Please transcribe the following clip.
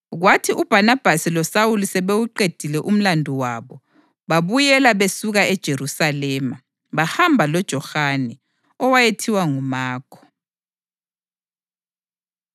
Kwathi uBhanabhasi loSawuli sebewuqedile umlandu wabo, babuyela besuka eJerusalema, bahamba loJohane, owayethiwa nguMakho.